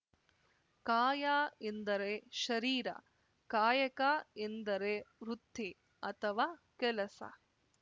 ಕಾಯ ಎಂದರೆ ಶರೀರ ಕಾಯಕ ಎಂದರೆ ವೃತ್ತಿ ಅಥವಾ ಕೆಲಸ